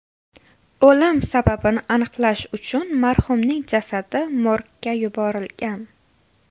O‘lim sababini aniqlash uchun marhumning jasadi morgga yuborilgan.